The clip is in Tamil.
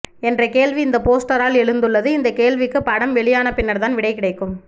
என்ற கேள்வி இந்த போஸ்டரால் எழுந்துள்ளது இந்த கேள்விக்கு படம் வெளியான பின்னர் தான் விடை கிடைக்கும்